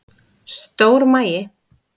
Stór magi